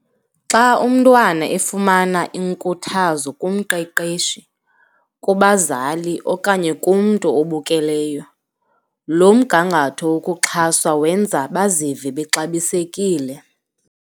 Xa umntwana efumana inkuthazo kumqeqeshi, kubazali okanye kumntu obukeleyo, lo mgangatho wokuxhaswa wenza bazive bexabisekile.